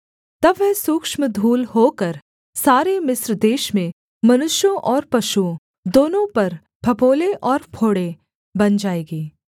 तब वह सूक्ष्म धूल होकर सारे मिस्र देश में मनुष्यों और पशुओं दोनों पर फफोले और फोड़े बन जाएगी